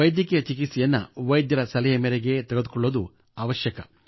ವೈದ್ಯಕೀಯ ಚಿಕಿತ್ಸೆಯನ್ನು ವೈದ್ಯರ ಸಲಹೆ ಮೇರೆಗೆ ತೆಗೆದುಕೊಳ್ಳುವುದು ಅವಶ್ಯಕ